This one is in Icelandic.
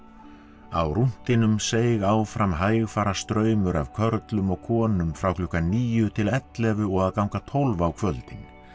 á rúntinum seig áfram hægfara straumur af körlum og konum frá klukkan níu til ellefu og að ganga tólf á kvöldin